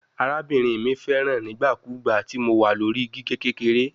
Arabinrin mi fẹran rẹ nigbakugba ti Mo wa lori gige kekere